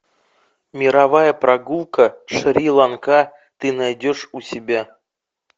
мировая прогулка шри ланка ты найдешь у себя